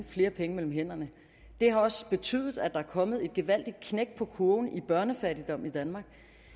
flere penge mellem hænderne det har også betydet at der er kommet et gevaldigt knæk på kurven i børnefattigdom i danmark